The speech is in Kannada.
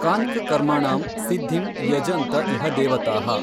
ಕಾಙ್ಕ್ ಕರ್ಮಣಾಂ ಸಿದ್ಧಿಂ ಯಜನ್ತ ಇಹ ದೇವತಾಃ।